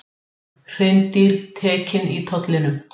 Hreindýr tekin í tollinum